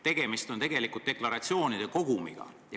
Tegemist on deklaratsioonide kogumiga.